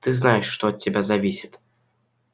ты знаешь что от тебя зависит